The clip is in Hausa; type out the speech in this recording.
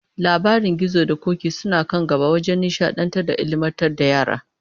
Labaran gizo da k'ok'i suna kan gaba wajen nishadantar da ilmantar da yara